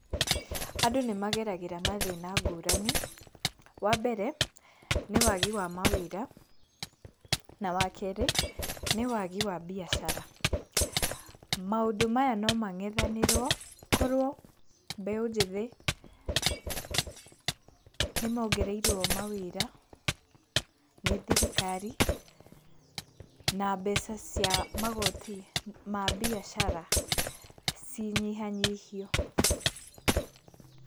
Andũ nĩmageragĩra mathina ngũrani, wa mbere nĩ wagi wa mawĩra na wakerĩ nĩ wagi wa mbiacara. Maũndũ maya no mangethanĩrwo korwo mbeũ njĩthĩ nĩmogereirwo mawĩra nĩ thirikara na mbeca cia magoti ma mbiacara cinyihanyihio.